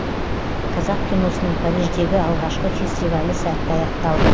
қазақ киносының париждегі алғашқы фестивалі сәтті аяқталды